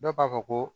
Dɔw b'a fɔ ko